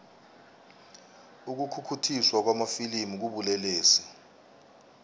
ukukhukhuthiswa kwamafilimu kubulelesi